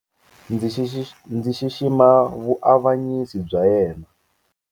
Ndzi xixima vuavanyisi bya yena.